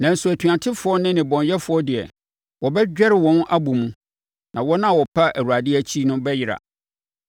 Nanso atuatefoɔ ne nnebɔneyɛfoɔ deɛ, wɔbɛdwɛre wɔn abɔ mu, na wɔn a wɔpa Awurade akyi bɛyera.